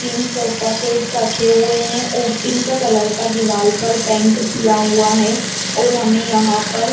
तीन सोफा से रखें हुए है उ पिंक कलर का दिवार पर पेंट किया हुआ है और हमे यहाँ पर--